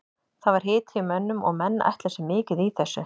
Það var hiti í mönnum og menn ætla sér mikið í þessu.